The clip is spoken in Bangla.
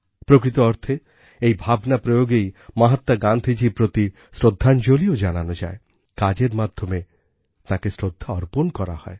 প্রকৃত অর্থে এই ভাবনা প্রয়োগেই মহাত্মা গান্ধীজির প্রতি শ্রদ্ধাঞ্জলিও জানানো যায় কাজের মাধ্যমে তাঁকে শ্রদ্ধা অর্পণ করা হয়